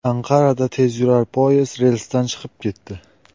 Anqarada tezyurar poyezd relsdan chiqib ketdi.